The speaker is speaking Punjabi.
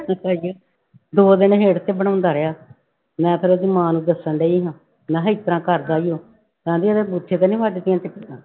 ਦੋ ਦਿਨ ਹਿੰਡ ਤੇ ਬਣਾਉਂਦਾ ਰਿਹਾ, ਮੈਂ ਫਿਰ ਉਹਦੀ ਮਾਂ ਨੂੰ ਦੱਸਣ ਡਿਆ ਮੈਂ ਕਿਹਾ ਇਸ ਤਰ੍ਹਾਂ ਕਰਦਾ ਵੀ ਉਹ, ਕਹਿੰਦੀ ਇਹਦੇ ਬੂਥੇ ਤੇ ਵੱਜਦੀਆਂ ਚਪੇੜਾਂ।